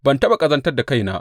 Ban taɓa ƙazantar da kaina ba.